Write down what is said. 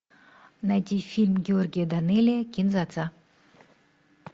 найди фильм георгия данелия кин дза дза